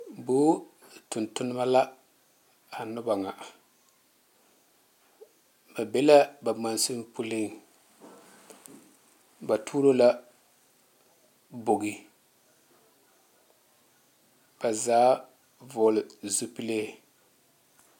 Vũũ tontoneba la a noba ŋa. Ba be la ba mansini puliŋ. Ba tuuro la bogi. Ba zaa vͻgele zupile.